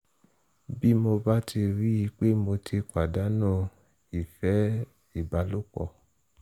bí mo bá ti rí i pé mo ti pàdánù ìfẹ́ ìbálòpọ̀